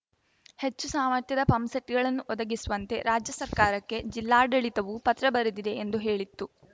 ಹೆಚ್ಚು ಸಾಮರ್ಥ್ಯದ ಪಂಪ್‌ಸೆಟ್‌ಗಳನ್ನು ಒದಗಿಸುವಂತೆ ರಾಜ್ಯ ಸರ್ಕಾರಕ್ಕೆ ಜಿಲ್ಲಾಡಳಿತವೂ ಪತ್ರ ಬರೆದಿದೆ ಎಂದು ಹೇಳಿತ್ತು